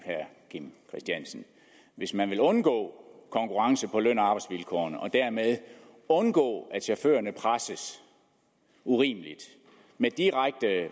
hvis man vil undgå konkurrence på løn og arbejdsvilkårene og dermed undgå at chaufførerne presses urimeligt med direkte